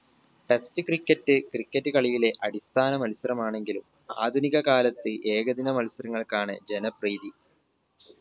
test cricket cricket കളിയിലെ അടിസ്ഥാന മത്സരമാണെങ്കിലും ആധുനിക കാലത്ത് ഏകദിന മത്സരങ്ങൾക്കാണ് ജനപ്രീതി